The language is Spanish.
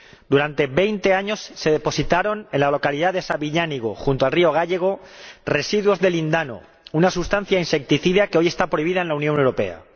Durante veinte años se depositaron en la localidad de Sabiñánigo, junto al río Gállego, residuos de lindano, una sustancia insecticida que hoy está prohibida en la Unión Europea.